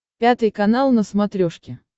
пятый канал на смотрешке